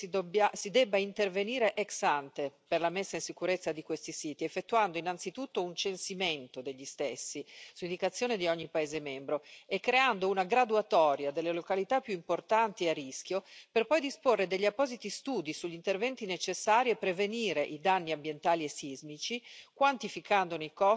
Nel concreto penso che si debba intervenire ex ante per la messa in sicurezza di questi siti, effettuando innanzitutto un censimento degli stessi, su indicazione di ogni Stato membro, e creando una graduatoria delle località più importanti e a rischio, per poi disporre degli appositi studi sugli interventi necessari a prevenire i danni ambientali e sismici,